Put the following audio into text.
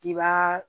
I b'aa